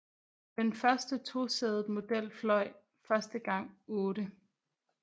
Den første tosædede model fløj første gang 8